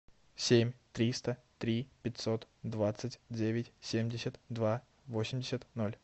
семь триста три пятьсот двадцать девять семьдесят два восемьдесят ноль